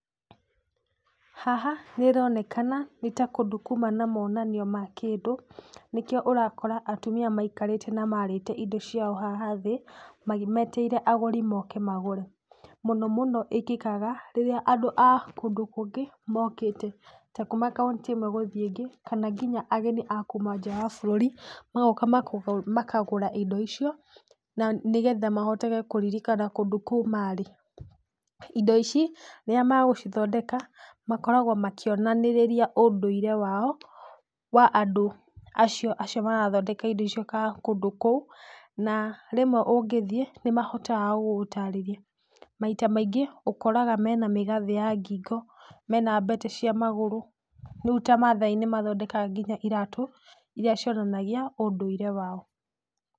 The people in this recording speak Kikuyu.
Haha nĩronekana nĩta kũndũ kuma na monanio ma kĩndũ nĩkĩo ũrakora atumia maikarĩte na marĩte indo ciao haha thĩĩ magĩ metereire agũri moke magũre. Mũno mũno ĩkĩkaga rĩrĩa andũ a kũndũ kũngĩ mokĩte ta kuma county ĩmwe gũthiĩ ĩngĩ kana nginya ageni a kuma nja ya bũrũri magoka maga makagũra indo icio na nĩgetha mahotage kũririkana kũndũ kũu marĩ. Indo ici rĩrĩa magũcithondeka makoragwo makĩonanĩrĩria ũndũire wao wa andũ acio acio marathondeka indo icio ka kũndũ kũu na rĩmwe ũngĩthiĩ nĩmahotaga gũgũtarĩria, maita maingĩ ũkoraga mena mĩgathĩ ya ngingo mena mbete cia magũrũ rĩu ta mathai nĩmathondekaga iratũ iria cionanagia ũndũire wao.